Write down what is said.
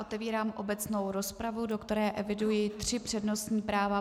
Otevírám obecnou rozpravu, do které eviduji tři přednostní práva.